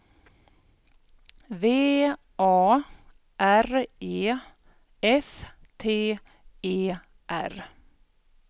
V A R E F T E R